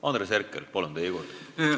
Andres Herkel, palun, teie kord!